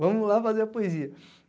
Vamos lá fazer a poesia.